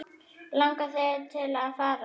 Langar þig til að fara?